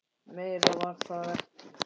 Meira var það ekki.